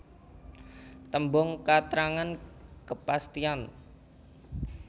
Tembung katrangan kepastian